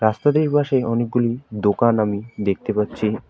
রাস্তাটির পাশে অনেকগুলি দোকান আমি দেখতে পাচ্ছি।